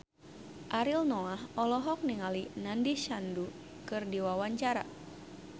Ariel Noah olohok ningali Nandish Sandhu keur diwawancara